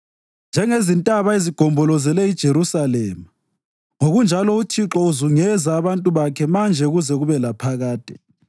Njengezintaba ezigombolozele iJerusalema, ngokunjalo uThixo uzungeza abantu bakhe manje kuze kube laphakade.